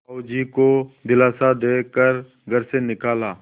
साहु जी को दिलासा दे कर घर से निकाला